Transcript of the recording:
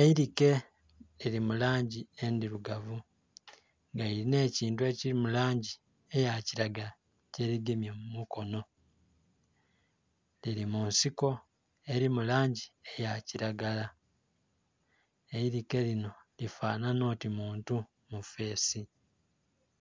eirike lili mu langi endhirugavu nga liliina ekintu ekili mu langi eya kilagala kye ligemye mumukono lili mu nsiko eri mu langi eya kilagala. Eirike lino lifanana oti muntu mufesi.